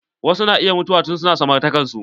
Wasu na iya mutuwa tun su na samartakan su.